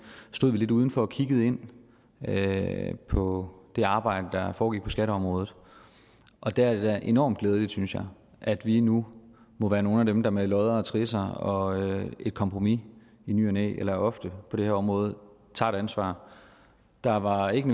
stod vi lidt udenfor og kiggede ind på det arbejde der foregik på skatteområdet og der er det da enormt glædeligt synes jeg at vi nu må være nogle af dem der med lodder og trisser og et kompromis i ny og næ eller ofte på det her område tager et ansvar der var ikke